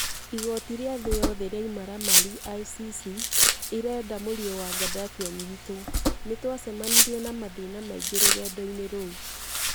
Igooti rĩa thĩ yothe rĩa imaramari (ICC) ĩrenda mũriũ wa Gaddafi anyitwo. Nĩ twacemanirie na mathĩna maingĩ rũgendo-inĩ rũu.